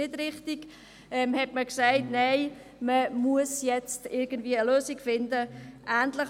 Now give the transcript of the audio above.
Wir diskutierten schon damals, ob diese Verschiebung richtig sei oder nicht.